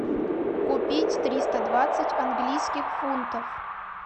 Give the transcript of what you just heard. купить триста двадцать английских фунтов